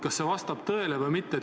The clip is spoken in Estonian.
Kas see vastab tõele või mitte?